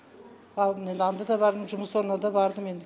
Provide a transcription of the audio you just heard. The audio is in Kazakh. бабымен анда да бардым жұмыс орнына да бардым енді